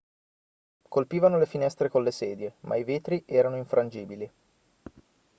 colpivano le finestre con le sedie ma i vetri erano infrangibili